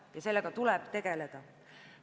Ja sellega tuleb tegeleda.